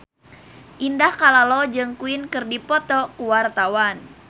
Indah Kalalo jeung Queen keur dipoto ku wartawan